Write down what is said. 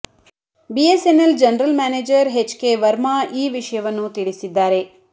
BSNL general manager H K Varma ಈ ವಿಷಯವನ್ನು ತಿಳಿಸಿದ್ದಾರೆ